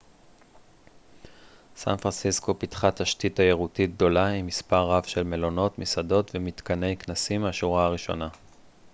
סן-פרנסיסקו פיתחה תשתית תיירותית גדולה עם מספר רב של מלונות מסעדות ומתקני כנסים מהשורה הראשונה